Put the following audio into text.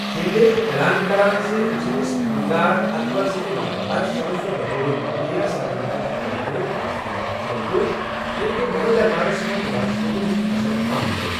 فِیِنٛڈلے چُھ اعلان کَران زِ أمۍ سٕنٛدِس خانٛدار، اکبر سٕنٛدِ مرنہٕ پَتہٕ سپز سۄ بطور مۄغلیہ سلطنَتٕچ ملِكہٕ آسنہٕ نِشہِ سبکدوش ییٚمہِ كِنۍ مۄغل دربارس منٛز راجپوٗتن ہُنٛد اشر کم گوٚو۔